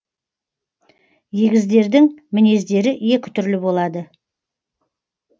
егіздердің мінездері екі түрлі болады